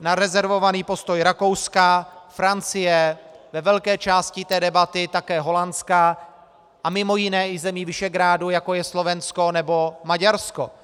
na rezervovaný postoj Rakouska, Francie, ve velké části té debaty také Holandska a mimo jiné i zemí Visegrádu, jako je Slovensko nebo Maďarsko.